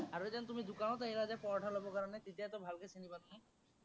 আৰু এদিন তুমি দোকানত আহিলা যে পৰঠা লবৰ কাৰনে, তেতিয়াতো ভালকে চিনি পালো ন'?